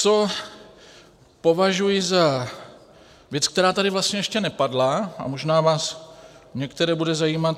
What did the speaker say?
Co považuji za věc, která tady vlastně ještě nepadla a možná vás některé bude zajímat.